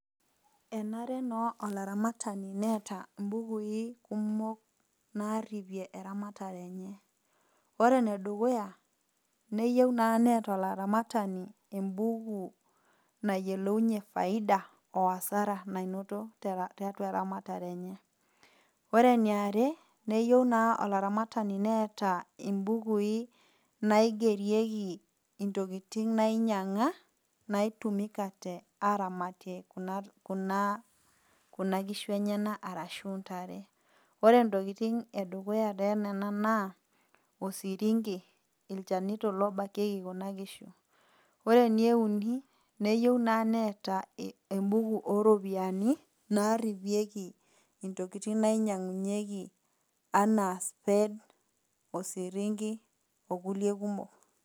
Enare naa olaramatani neata imbukui kumok, naaripie eramatare enye . ore ene dukuya, neyou naa neata olaramatani embuku nayiolounye ifaida o asara nainoto tiatua eramatare enye. Ore ene are neyou naa olaramatani neata imbukui naigerieki intokitin nainyang'a, naitumikate aramatie naa kuna kishu enyena arashu intare. Ore intokitin e dukuya too nena naa osirinki, ilchanito lobakieki kuna kishu. Ore ene uni, neyou naa neata embuku o iropiani naaripieki intokitin nainyang'unyeki anaa spade, osirinki o kulie kumok.